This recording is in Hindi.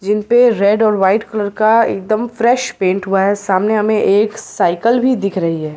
जिन पे रेड और व्हाईट कलर का एकदम फ्रेश पेंट हुआ है सामने हमें एक साइकिल भी दिख रही है।